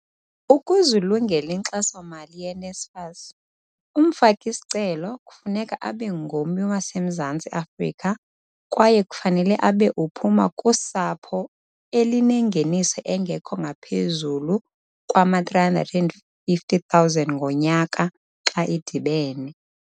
Ukuze ulungele inkxasomali ye-NSFAS, umfaki-sicelo kufuneka abe ngummi waseMzantsi Afrika kwaye kufanele abe uphuma kusapho elinengeniso engekho ngaphezulu kwama-R350 000 ngonyaka xa idibene.